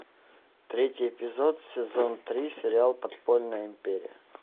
третий эпизод сезон три сериал подпольная империя